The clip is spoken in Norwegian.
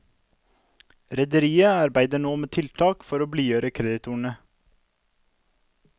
Rederiet arbeider nå med tiltak for å blidgjøre kreditorene.